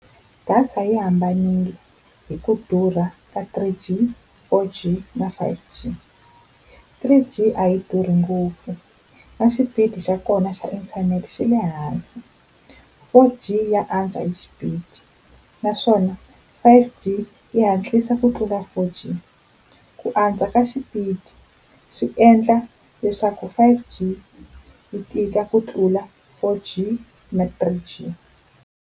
Data yi hambanile hi ku durha ka three G, four G na five G. Three G a yi durhi ngopfu na xipidi xa kona xa internet xi le hansi. Four G ya antswa hi xipidi naswona five G yi hatlisa ku tlula four G. Ku antswa ka xipidi swi endla leswaku five G yi tika ku tlula four G na three G.